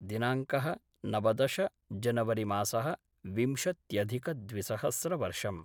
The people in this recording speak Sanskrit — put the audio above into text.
दिनाङ्क: नवदश जनवरिमासः विंशत्यधिकद्विसहस्रवर्षम्